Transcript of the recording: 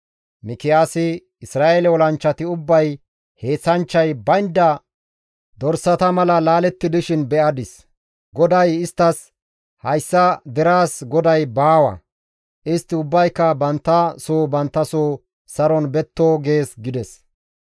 Mikiyaasi, «Isra7eele olanchchati ubbay heenththanchchay baynda dorsata mala laaletti dishin be7adis. GODAY isttas, ‹Hayssa deraas goday baawa. Istti ubbayka bantta soo bantta soo saron betto› gees» gides.